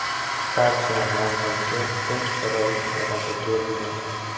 Barcha nomzodga teng sharoit yaratib berilgan.